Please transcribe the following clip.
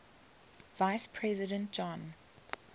vice president john